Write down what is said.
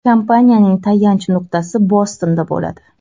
Kompaniyaning tayanch nuqtasi Bostonda bo‘ladi.